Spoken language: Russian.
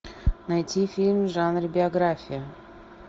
найти фильм в жанре биография